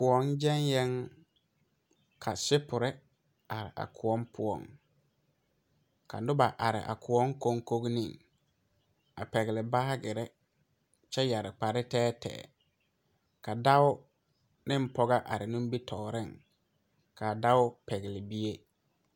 Koɔ gaŋɛ, ka gboe be a koɔ poɔŋ ka noba are a koɔ konkoriŋ a pɛgele baagere kyɛ yɛre kpare tɛɛtɛɛ ka dɔɔ ne pɔgɔ are nimitɔreŋ kaa dɔɔ pɛgele. bie.